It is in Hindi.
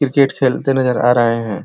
क्रिकेट खेलते नजर आ रहे हैं।